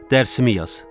Dərsini yaz.